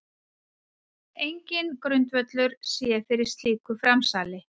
Enginn grundvöllur sé fyrir slíku framsali